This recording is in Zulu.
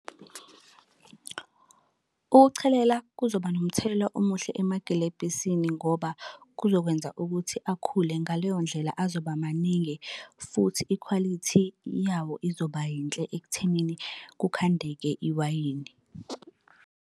Ukuchelela kuzoba nomthelela omuhle emagilebhisini ngoba kuzokwenza ukuthi akhule ngaleyo ndlela azoba maningi futhi ikhwalithi yawo izoba yinhle ekuthenini kukhandeke iwayini.